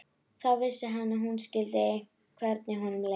Þá vissi hann að hún skildi hvernig honum leið.